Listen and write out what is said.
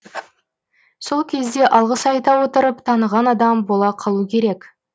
сол кезде алғыс айта отырып таныған адам бола қалу керек